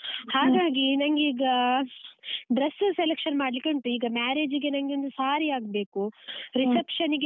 ಹಾಗಾಗಿ ನಂಗೆ ಈಗ dress selection ಮಾಡ್ಲಿಕ್ಕುಂಟು ಈಗ marriage ಗೆ ನಂಗೆ ಒಂದು saree ಆಗ್ಬೇಕು reception ನಿಗೆ.